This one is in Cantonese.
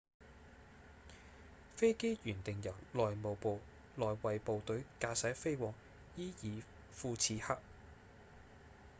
飛機原定由內務部內衛部隊駕駛飛往伊爾庫次克